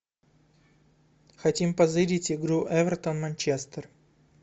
хотим позырить игру эвертон манчестер